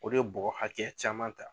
O de ye bɔ hakɛya caman ta